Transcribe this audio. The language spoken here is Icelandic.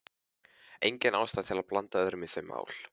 Engin ástæða til að blanda öðrum í þau mál.